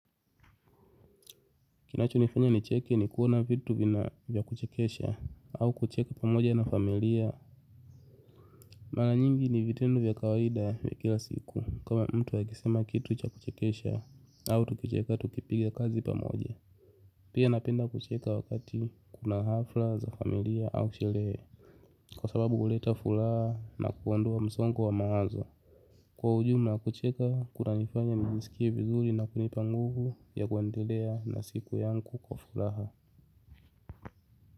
Kinacho nifanya ni cheke ni kuona vitu vina vya kuchekesha au kucheka pamoja na familia. Mara nyingi ni vitendo vya kawaida vya kila siku kama mtu wakisema kitu cha kuchekesha au tukicheka tukipiga kazi pamoja. Pia napenda kucheka wakati kuna hafla za familia au sherehe kwa sababu huleta furaha na kuondoa msongo wa mawazo. Kwa ujumla kucheka kuna nifanya nijisikie vizuri na kunipa nguvu ya kuendelea na siku yangu kwa furaha.